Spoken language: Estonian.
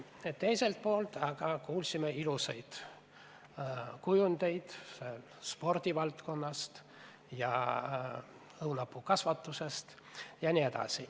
Teiselt poolt aga kuulsime ilusaid kujundeid spordivaldkonnast ja õunapuukasvatusest.